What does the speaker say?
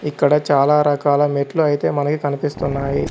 ఇక్కడ చాలా రకాల మెట్లు అయితే మనకి కనిపిస్తున్నాయి.